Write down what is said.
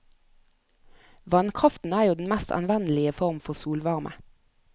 Vannkraften er jo den mest anvendelige form for solvarme.